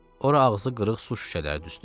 Ora ağzı qırıq su şüşələri düzdü.